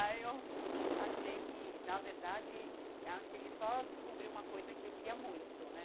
Aí eu achei que, na verdade, acho que ele só descobriu uma coisa que eu queria muito, né?